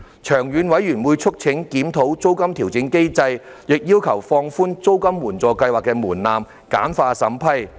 長遠而言，事務委員會促請政府當局檢討租金調整機制，亦要求放寬租金援助計劃的門檻，簡化審批。